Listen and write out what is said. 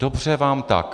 Dobře vám tak.